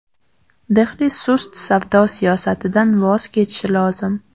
Dehli sust savdo siyosatidan voz kechishi lozim.